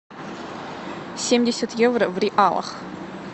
семьдесят евро в реалах